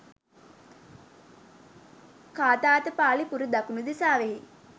ඣාධපාලි පුර දකුණු දිසාවෙහි